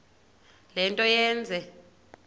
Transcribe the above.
le nto yenze